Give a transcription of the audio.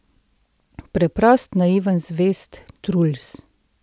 Preprost, naiven, zvest Truls.